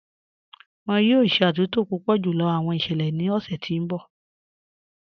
Wọn yọ̀ọ̀ ṣẹ̀ àtúntò púpọ̀ júlọ̀ awọn iṣẹlẹ̀ ni ọṣẹ̀ ti n bọ̀.